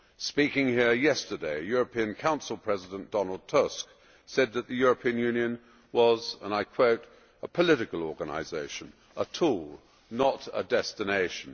Speaking here yesterday, European Council President Donald Tusk said that the European Union was, and I quote, ʽa political organisation a tool, not a destinationʼ.